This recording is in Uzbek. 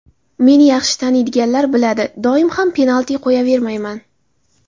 Meni yaxshi taniydiganlar biladi, doim ham penalti qo‘yavermayman.